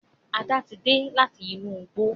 Ada tí dé láti inú igbó